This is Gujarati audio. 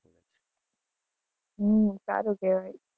હમ સારું કેવાય.